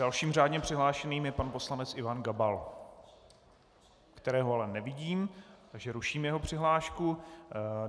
Dalším řádně přihlášeným je pan poslanec Ivan Gabal, kterého ale nevidím, takže ruším jeho přihlášku.